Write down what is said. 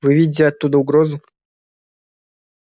вы видите оттуда угрозу